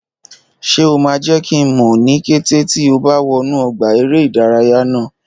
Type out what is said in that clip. Ṣé o máa jẹ́ kí n mọ̀ ní kété tí o bá wọnú ọgbà eré ìdárayá náà?